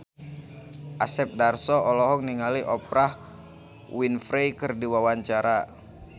Asep Darso olohok ningali Oprah Winfrey keur diwawancara